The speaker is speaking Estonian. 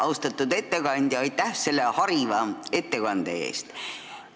Austatud ettekandja, aitäh selle hariva ettekande eest!